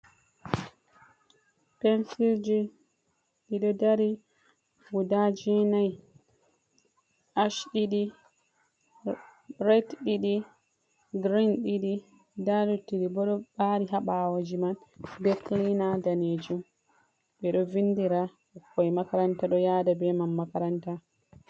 Pensil ji, ɗiɗo dari, guda jowenayi. Ash ɗiɗi, boɗejum ɗiɗi, ɓokko-ɓokko ɗiɗi. Nda luttuɗi bo ɗo ɓari ha ɓawoji man, be kilina danejum. Ɓe ɗo windira ɓikkoi makaranta ɗo yaada be man makaranta.